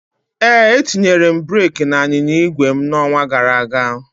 Ee, etinyere m breeki n'ịnyịnya igwe m n'ọnwa gara aga